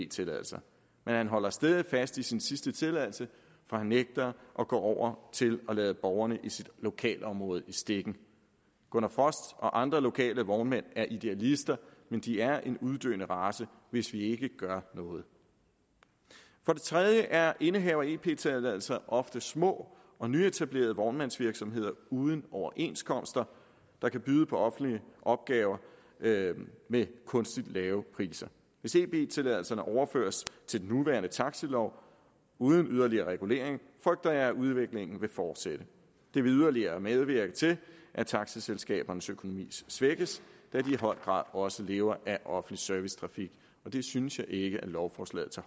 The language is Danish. tilladelser men han holder stædigt fast i sin sidste tilladelse for han nægter at gå over til at lade borgerne i sit lokalområde i stikken gunnar frost og andre lokale vognmænd er idealister men de er en uddøende race hvis vi ikke gør noget for det tredje er indehavere af ep tilladelser ofte små og nyetablerede vognmandsvirksomheder uden overenskomster der kan byde på offentlige opgaver med kunstigt lave priser hvis ep tilladelserne overføres til den nuværende taxilov uden yderligere regulering frygter jeg at udviklingen vil fortsætte det vil yderligere medvirke til at taxaselskabernes økonomi svækkes da de i høj grad også lever af offentlig servicetrafik det synes jeg ikke at lovforslaget tager